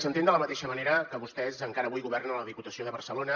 s’entén de la mateixa manera que vostès encara avui governen a la diputació de barcelona